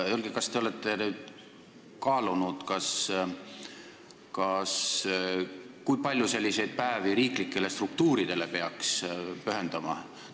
Kas te olete kaalunud, kui palju peaks selliselt tähistatavaid päevi riiklikele struktuuridele pühendama?